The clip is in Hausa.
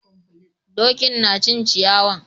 Dokin na cin ciyawan.